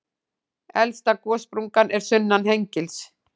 Elsta gossprungan er sunnan Hengils.